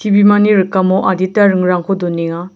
bimani rikamo adita ringrangko donenga.